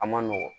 A ma nɔgɔn